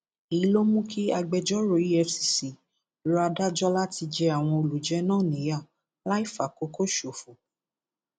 èyí ló mú kí agbẹjọrò efcc rọ adájọ láti jẹ àwọn olùjẹ náà níyà láì fàkókò ṣòfò